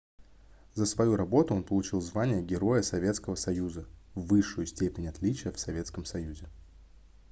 за свою работу он получил звание героя советского союза высшую степень отличия в советском союзе